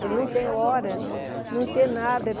Para não ter hora, não ter nada.